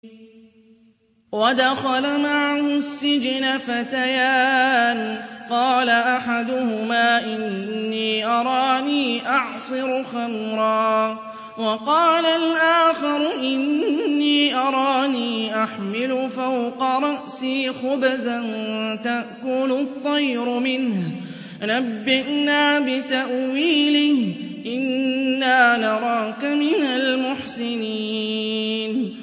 وَدَخَلَ مَعَهُ السِّجْنَ فَتَيَانِ ۖ قَالَ أَحَدُهُمَا إِنِّي أَرَانِي أَعْصِرُ خَمْرًا ۖ وَقَالَ الْآخَرُ إِنِّي أَرَانِي أَحْمِلُ فَوْقَ رَأْسِي خُبْزًا تَأْكُلُ الطَّيْرُ مِنْهُ ۖ نَبِّئْنَا بِتَأْوِيلِهِ ۖ إِنَّا نَرَاكَ مِنَ الْمُحْسِنِينَ